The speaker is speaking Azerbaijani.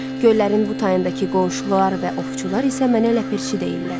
Göllərin bu tayındakı qonşular və ovçular isə mənə Ləpirçi deyirlər.